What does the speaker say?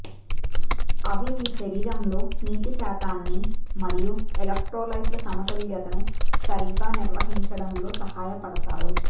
అవి మీ శరీరంలో నీటి శాతాన్ని మరియు ఎలెక్ట్రోలైట్ల సమతుల్యతను సరిగ్గా నిర్వహించడంలో సహాయపడతారు